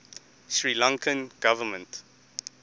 sri lankan government